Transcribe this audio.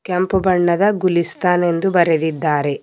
ಕೆಂಪು ಬಣ್ಣದ ಗುಲಿಸ್ತಾನ್ ಎಂದು ಬರೆದಿದ್ದಾರೆ.